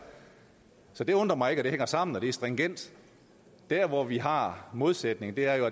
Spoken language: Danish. så det undrer mig ikke at det hænger sammen og at det er stringent der hvor vi har modsætningen er jo